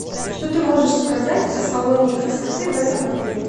что ты можешь сказать о салоне красоты в этом отеле